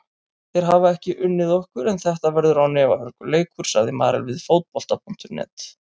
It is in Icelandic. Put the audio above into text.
Þeir hafa ekki unnið okkur en þetta verður án efa hörkuleikur, sagði Marel við Fótbolta.net.